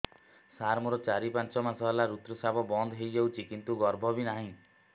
ସାର ମୋର ଚାରି ପାଞ୍ଚ ମାସ ହେଲା ଋତୁସ୍ରାବ ବନ୍ଦ ହେଇଯାଇଛି କିନ୍ତୁ ଗର୍ଭ ବି ନାହିଁ